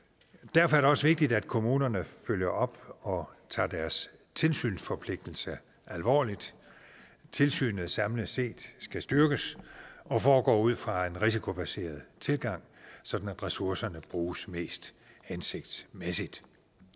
derfor er det også vigtigt at kommunerne følger op og tager deres tilsynsforpligtelse alvorligt tilsynet skal samlet set styrkes og foregå ud fra en risikobaseret tilgang sådan at ressourcerne bruges mest hensigtsmæssigt